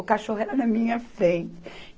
O cachorro era na minha frente.